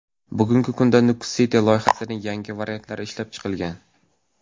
Bugungi kunda Nukus City loyihasining yangi varianti ishlab chiqilgan.